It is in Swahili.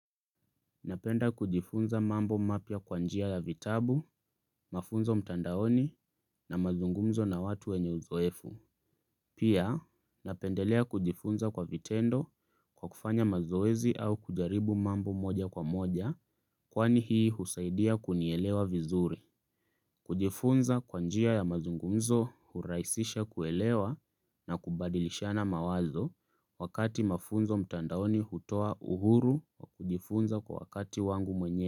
Napenda kujifunza mambo mapya kwa njia ya vitabu, mafunzo mtandaoni na mazungumzo na watu wenye uzoefu. Pia napendelea kujifunza kwa vitendo kwa kufanya mazoezi au kujaribu mambo moja kwa moja kwani hii husaidia kunielewa vizuri. Kujifunza kwa njia ya mazungumzo hurahisisha kuelewa na kubadilishana mawazo wakati mafunzo mtandaoni hutoa uhuru wa kujifunza kwa wakati wangu mwenyewe.